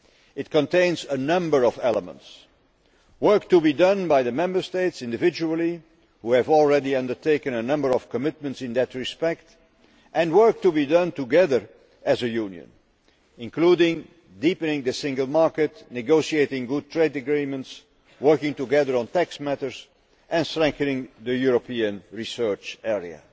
It contains a number of elements work to be done individually by the Member States, which have already undertaken a number of commitments in that respect, and work to be done together as a Union, including deepening the single market, negotiating good trade agreements, working together on tax matters, and strengthening the European Research Area.